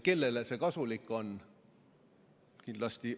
Kellele see kasulik on?